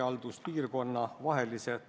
Mis nad mõlemad teile vastasid?